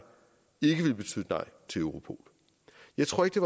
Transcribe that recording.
til europol jeg tror ikke